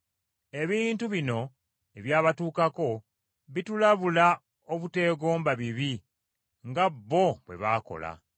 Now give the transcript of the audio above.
Ebintu bino ebyabatuukako bitulabula obuteegomba bibi nga bo bwe baakola.